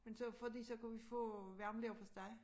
Men så fordi så kunne vi få varm leverpostej